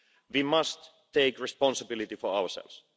We must take responsibility for ourselves.